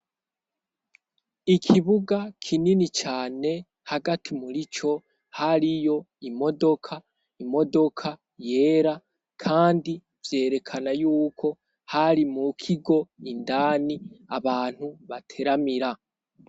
Ikibuga kinini cane hagati muri co hari yo imodoka imodoka yera, kandi vyerekana yuko hari mu kigo indani abantu bateramira.